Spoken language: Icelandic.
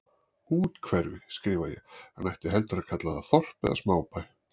Úthverfi, skrifa ég, en ætti heldur að kalla það þorp eða smábæ.